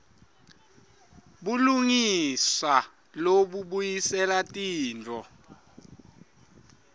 bulungisa lobubuyisela tintfo